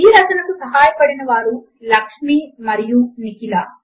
ఈ రచనకు సహాయపడినవారు లక్ష్మి మరియు నిఖిల